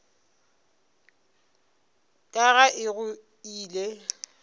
ka ga e go ile